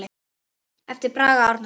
eftir Braga Árnason